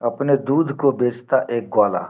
अपने दूध को बेचता एक ग्वाला।